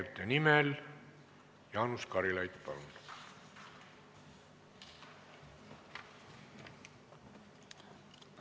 Arupärijate nimel Jaanus Karilaid, palun!